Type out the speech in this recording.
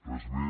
res més